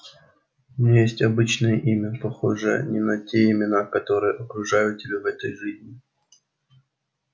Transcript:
у меня есть обычное имя похожее на те имена которые окружают тебя в этой жизни